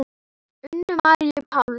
Unu Maríu Páls.